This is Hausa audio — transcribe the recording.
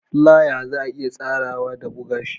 Flier za a iya tsarawa da buga shi